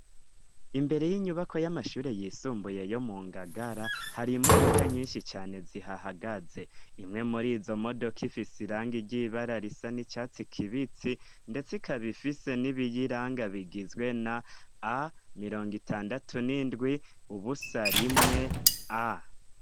Imbere y'inyubako y'amashure yisumbuye yo mu Ngagara, har'imodoka nyinshi cane zihahagaze, imwe murizo modoka ifise irangi ryibara risa n'icatsi kibitsi, ndetse ikab'ifise n'ibiyiranga bigizwe na A mirong 'itandatu n'indwi ubusa rimwe A.